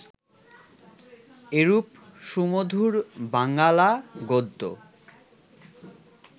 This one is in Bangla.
এরূপ সুমধুর বাঙ্গালা গদ্য